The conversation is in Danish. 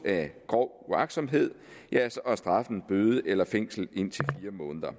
af grov uagtsomhed er straffen bøde eller fængsel indtil fire måneder